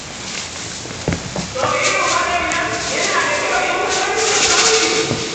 To irin waɗannan, yana da kyau in ka gan su ka kauce.